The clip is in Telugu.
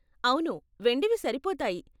అవును, వెండివి సరిపోతాయి.